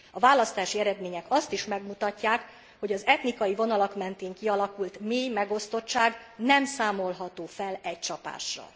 A választási eredmények azt is megmutatják, hogy az etnikai vonalak mentén kialakult mély megosztottság nem számolható fel egy csapásra.